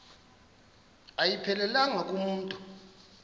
ayiphelelanga ku mntu